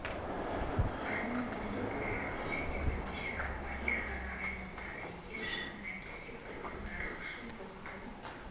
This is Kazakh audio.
арман усупов және бірнеше компания ғана айналысады егер шынына келсек біздің нарық үшін бұл тым